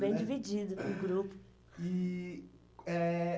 Bem dividido. E eh